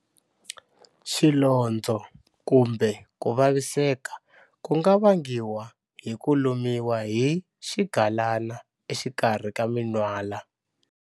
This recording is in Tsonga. Xilondzo kumbe ku vaviseka ku nga vangiwa hi ku lumiwa hi xigalana exikarhi ka minwala.